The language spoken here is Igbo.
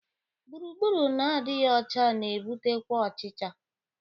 Gburugburu na-adịghị ọcha na-ebutekwa ọchịcha